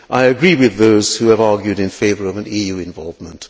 I agree with those who have argued in favour of an EU involvement.